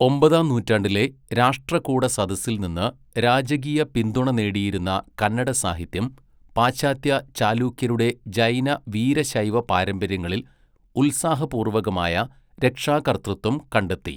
ഒമ്പതാം നൂറ്റാണ്ടിലെ രാഷ്ട്രകൂട സദസ്സിൽനിന്ന് രാജകീയ പിന്തുണ നേടിയിരുന്ന കന്നഡ സാഹിത്യം, പാശ്ചാത്യ ചാലൂക്യരുടെ ജൈന വീരശൈവ പാരമ്പര്യങ്ങളിൽ ഉത്സാഹപൂർവകമായ രക്ഷാകർതൃത്വം കണ്ടെത്തി.